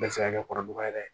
Bɛɛ bɛ se ka kɛ kɔrɔbɔrɔ ye yɛrɛ